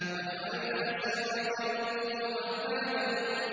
وَجَعَلْنَا سِرَاجًا وَهَّاجًا